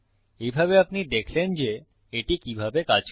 এইভাবে আপনি দেখলেন যে এটি কিভাবে কাজ করে